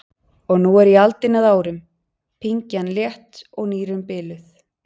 Og nú er ég aldinn að árum, pyngjan létt og nýrun biluð.